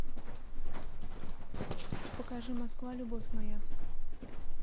покажи москва любовь моя